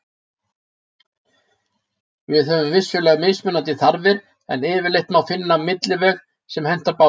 Við höfum vissulega mismunandi þarfir en yfirleitt má finna milliveg sem hentar báðum.